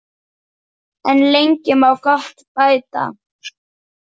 En lengi má gott bæta.